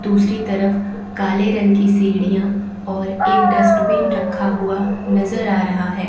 दूसरी तरफ काले रंग की सीढ़ियां और एक डस्टबिन रखा हुआ नजर आ रहा हैं।